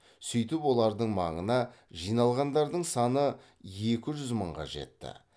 сөйтіп олардың маңына жиналғандардың саны екі жүз мыңға жетті